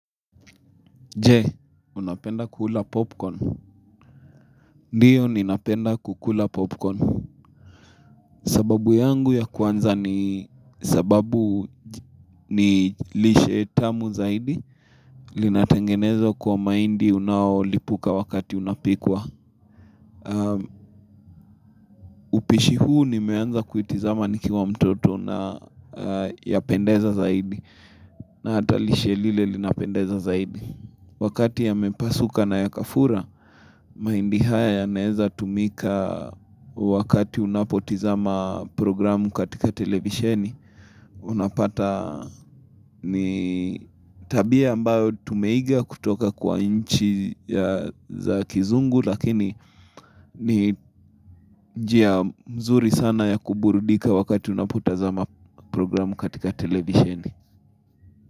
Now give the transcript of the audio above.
Je, unapenda kula popcorn? Ndiyo, ninapenda kukula popcorn. Sababu yangu ya kwanza ni sababu ni lishe tamu zaidi. Linatengenezwa kwa maindi unawolipuka wakati unapikwa. Upishi huu nimeanza kuitazama nikiwa mtoto na yapendeza zaidi. Na hata lishe lile linapendeza zaidi. Wakati yamepasuka na yakafura, mahindi haya yanaweza kutumika wakati unapotazama programu katika televisheni. Unapata ni tabia ambayo tumeiga kutoka kwa nchi za kizungu, lakini ni njia nzuri sana ya kuburudika wakati unapotazama programu katika televisheni.